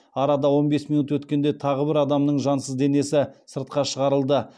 арада он бес минут өткенде тағы бір адамның жансыз денесі сыртқа шығарылды